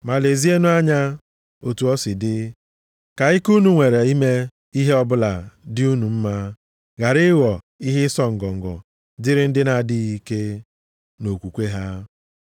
Ma lezienụ anya, otu o si dị, ka ike unu nwere ime ihe ọbụla dị unu mma, ghara ịghọ ihe ịsọ ngọngọ dịrị ndị na-adịghị ike nʼokwukwe ha.